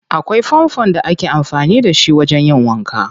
Akwai fanfon da ake amfani da shi wajen yin wanka.